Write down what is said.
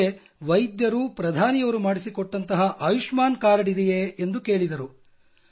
ಅದಕ್ಕೆ ವೈದ್ಯರು ಪ್ರಧಾನಿಯವರು ಮಾಡಿಸಿಕೊಟ್ಟಂತಹ ಆಯುಷ್ಮಾನ್ ಕಾರ್ಡ್ ಇದೆಯೇ ಎಂದು ಕೇಳಿದರು